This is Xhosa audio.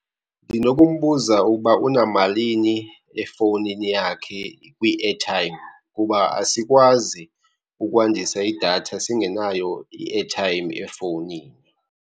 Ndinokumbuza ukuba unamalini efowunini yakhe kwi-airtime kuba asikwazi ukwandisa idatha singenayo i-airtime efowunini.